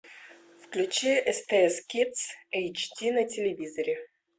включи стс кидс эйч ди на телевизоре